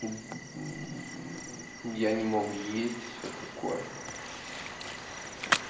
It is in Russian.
я не мог есть все такое